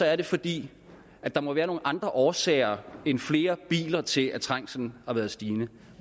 er det fordi der må være nogle andre årsager end flere biler til at trængslen har været stigende